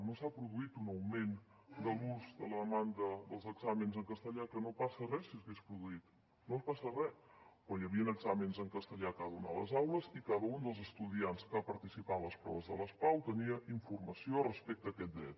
no s’ha produït un augment de l’ús de la demanda dels exàmens en castellà que no passaria res si s’hagués produït no passaria res però hi havia exàmens en castellà a cada una a les aules i cada un dels estudiants que va participar en les proves de les pau tenia informació respecte a aquest dret